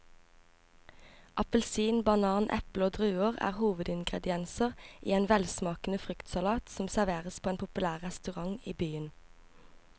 Appelsin, banan, eple og druer er hovedingredienser i en velsmakende fruktsalat som serveres på en populær restaurant i byen.